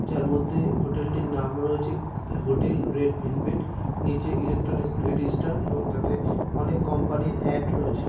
যার মধ্যে হোটেলটির নাম রয়েছে হোটেল রেড ভেলভেট । নিচে ইলেকট্রনিক্স গ্রেট ইস্টার্ন এবং তাতে অনেক কোম্পানি এর এড রয়েছে।